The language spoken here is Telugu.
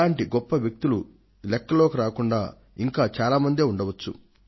ఇలాంటి గొప్ప వ్యక్తులు లెక్కలోకి రాకుండా ఇంకా చాలా మంది ఉండ వచ్చు